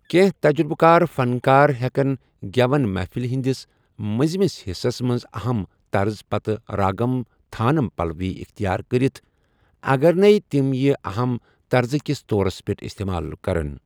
کیٚنٛہہ تجرُبہٕ کار فنٛکار ہیٚکن گٮ۪وَن محفِلہِ ہندِس مٔنٛزمِس حِصس منٛز اَہم طرزٕ پتہٕ راگم تھانم پَلَوی اختِیار کَرِتھ ، اَگر نَے تِم یہِ اَہم طرزٕ کِس طورس پیٚٹھ اِستعمال کَرن۔